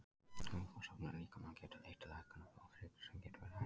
Vökvasöfnun í líkamanum getur leitt til hækkunar blóðþrýstings sem getur verið hættulegt.